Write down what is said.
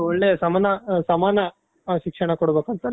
ಒಳ್ಳೆ ಸಮಾನ ಶಿಕ್ಷಣ ಕೊಡ್ಬೇಕು ಅಂತ